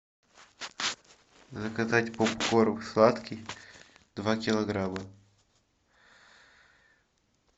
заказать попкорн сладкий два килограмма